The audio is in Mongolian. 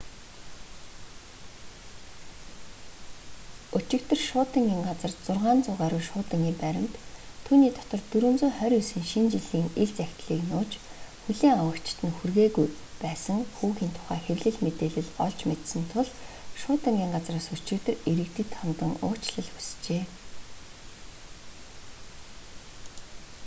өчигдөр шуудангийн газар 600 гаруй шуудангийн баримт түүний дотор 429 шинэ жилийн ил захидлыг нууж хүлээн авагчид нь хүргээгүй байсан хүүгийн тухай хэвлэл мэдээлэл олж мэдсэн тул шуудангийн газраас өчигдөр иргэдэд хандан уучлал хүслээ